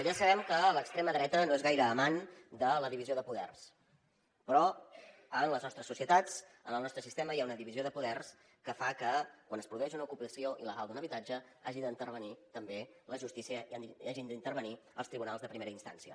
ja sabem que l’extrema dreta no és gaire amant de la divisió de poders però en les nostres societats en el nostre sistema hi ha una divisió de poders que fa que quan es produeix una ocupació il·legal d’un habitatge hi hagi d’intervenir també la justícia i hagin d’intervenir els tribunals de primera instància